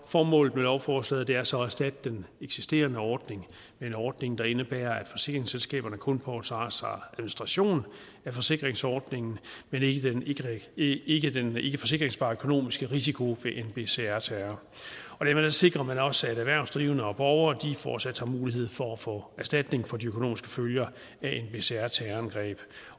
formålet med lovforslaget er så at erstatte den eksisterende ordning med en ordning der indebærer at forsikringsselskaberne kun påtager sig administrationen af forsikringsordningen men ikke den ikkeforsikringsbare økonomiske risiko ved nbcr terror dermed sikrer man også at erhvervsdrivende og borgere fortsat har mulighed for at få erstatning for de økonomiske følger af nbcr terrorangreb